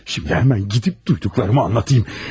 İndi həmən gedib duyduqlarımı anlatım.